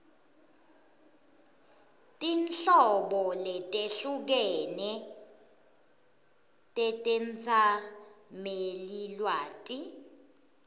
tinhlobo letehlukene tetetsamelilwati